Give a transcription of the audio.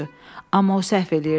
Amma o səhv edirdi.